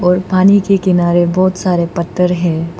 और पानी के किनारे बहोत सारे पत्थर है।